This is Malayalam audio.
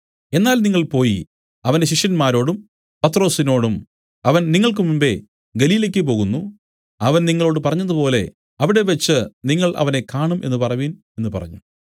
എന്നാൽ നിങ്ങൾ പോയി അവന്റെ ശിഷ്യന്മാരോടും പത്രൊസിനോടും അവൻ നിങ്ങൾക്ക് മുമ്പെ ഗലീലയ്ക്കു് പോകുന്നു അവൻ നിങ്ങളോടു പറഞ്ഞതുപോലെ അവിടെവച്ച് നിങ്ങൾ അവനെ കാണും എന്നു പറവിൻ എന്നു പറഞ്ഞു